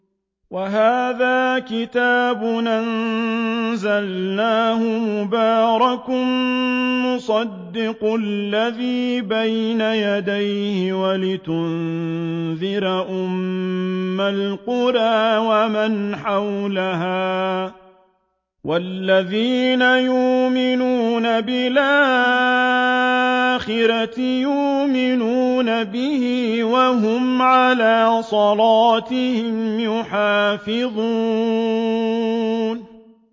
وَهَٰذَا كِتَابٌ أَنزَلْنَاهُ مُبَارَكٌ مُّصَدِّقُ الَّذِي بَيْنَ يَدَيْهِ وَلِتُنذِرَ أُمَّ الْقُرَىٰ وَمَنْ حَوْلَهَا ۚ وَالَّذِينَ يُؤْمِنُونَ بِالْآخِرَةِ يُؤْمِنُونَ بِهِ ۖ وَهُمْ عَلَىٰ صَلَاتِهِمْ يُحَافِظُونَ